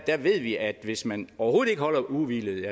ved vi at hvis man overhovedet ikke holder ugehvilet